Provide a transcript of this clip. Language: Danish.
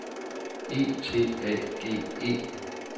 E T A G E